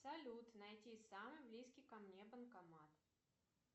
салют найти самый близкий ко мне банкомат